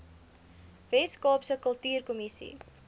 wes kaapse kultuurkommissie